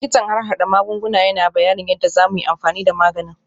Likitan harhada magunguna yana bayanin yadda za mu yi amfani da maganin